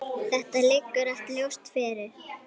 Þetta liggur allt ljóst fyrir.